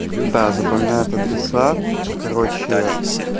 да запоминает адреса короче